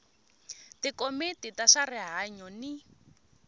tikomiti ta swa rihanyu ni